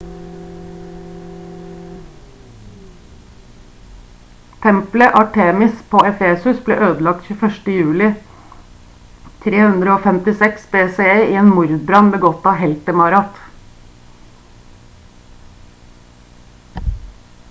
tempelet artemis på efesus ble ødelagt 21. juli 356 bce i en mordbrann begått av heltemarat